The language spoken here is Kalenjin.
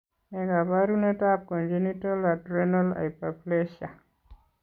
Ne kaabarunetap Congenital adrenal hyperplasia?